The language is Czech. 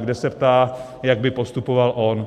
kde se ptá, jak by postupoval on.